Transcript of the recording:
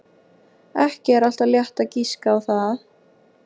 Ekki er alltaf létt að giska á það.